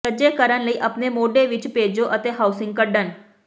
ਸੱਜੇ ਕਰਨ ਲਈ ਆਪਣੇ ਮੋਢੇ ਵਿੱਚ ਭੇਜੋ ਅਤੇ ਹਾਊਸਿੰਗ ਕੱਢਣ